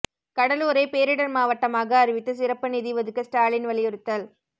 கடலூரை பேரிடர் மாவட்டமாக அறிவித்து சிறப்பு நிதி ஒதுக்க ஸ்டாலின் வலியுறுத்தல்